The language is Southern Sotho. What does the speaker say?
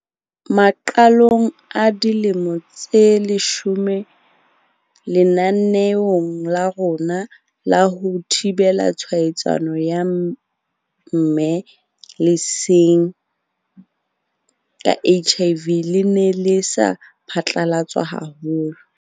Maqalong a dilemo tse leshome, lenaneo la rona la ho thibela tshwaetso ya mme leseeng ka HIV le ne le sa phatlalatswa haholo.